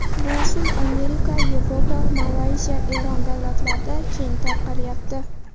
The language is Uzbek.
Bu usul Amerika, Yevropa, Malayziya, Eron davlatlarida keng tarqalyapti.